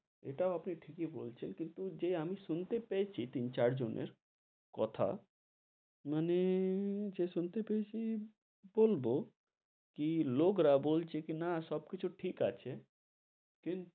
এটাও আপনি ঠিকি বলছেন, কিন্তু যে আমি শুনতে পেয়েছি তিন চার জনের কথা মানে যে শুনতে পেয়েছি, বলবো কি লোক রা বলছে কি না সব কিছু ঠিক আছে, কিন্তু,